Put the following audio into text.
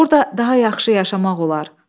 Orda daha yaxşı yaşamaq olar.